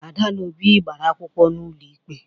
Ada na Obi gbara akwụkwọ n'ụlọ ikpe